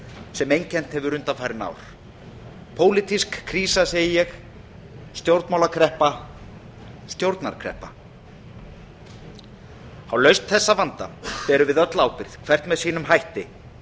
sem einkennt hefur undanfarin ár pólitísk krísa segi ég stjórnmálakreppa stjórnarkreppa á lausn þessa vanda berum við öll ábyrgð hvert með sínum hætti